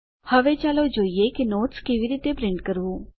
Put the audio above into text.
હવે ચાલો જોઈએ કે નોટ્સ કેવી રીતે પ્રિન્ટ કરવું